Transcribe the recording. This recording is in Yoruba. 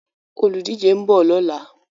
Olùdíje ń bọ̀ lọ́la.